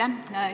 Aitäh!